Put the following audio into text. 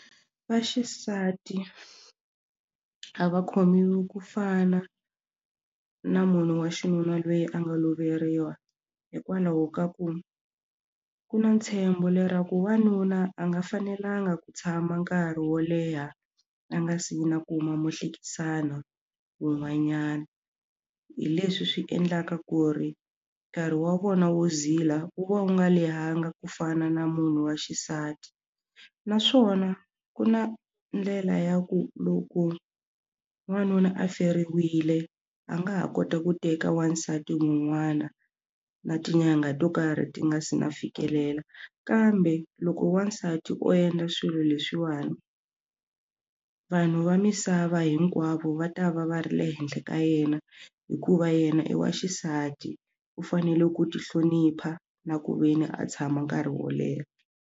Vaxisati a va khomiwi ku fana na munhu wa xinuna lweyi a nga loveriwa hikwalaho ka ku ku na ntshembo lero ku wanuna a nga fanelanga ku tshama nkarhi wo leha a nga si na kuma muhlekisani wun'wanyana hi leswi swi endlaka ku ri nkarhi wa vona wo zila wu va wu nga lehangi ku fana na munhu wa xisati naswona ku na ndlela ya ku loko wanuna a feriwile a nga ha kota ku teka wasati un'wana na tinyanga to karhi ti nga si na fikelela kambe loko wa nsati u endla swilo leswiwani vanhu va misava hinkwavo va ta va va ri le henhla ka yena hikuva yena i wa xisati u fanele ku tihlonipha na ku ve ni a tshama nkarhi wo leha.